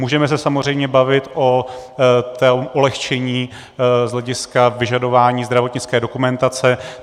Můžeme se samozřejmě bavit o tom ulehčení z hlediska vyžadování zdravotnické dokumentace.